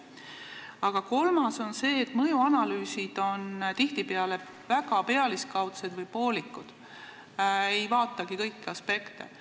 Aga kolmas põhjus on see, et mõjuanalüüsid on tihtipeale väga pealiskaudsed või poolikud, ei vaadatagi kõiki aspekte.